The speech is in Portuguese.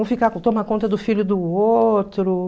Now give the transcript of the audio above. Um ficar para tomar conta do filho do outro.